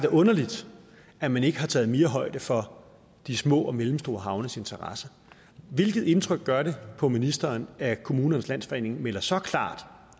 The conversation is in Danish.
underligt at man ikke har taget mere højde for de små og mellemstore havnes interesser hvilket indtryk gør det på ministeren at kommunernes landsforening melder så klart